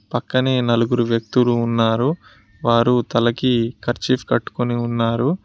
పక్కనే నలుగురు వ్యక్తులు ఉన్నారు వారు తలకి కర్చీఫ్ కట్టుకొని ఉన్నారు.